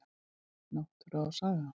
Náttúra og saga.